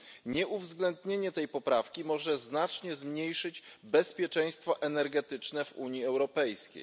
Nieuwzględnienie tej poprawki może znacznie zmniejszyć bezpieczeństwo energetyczne w Unii Europejskiej.